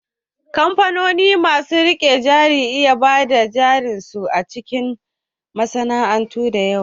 Kamfanoni masu riƙewa na iya bada jarin su a cikin masana'antu da yawa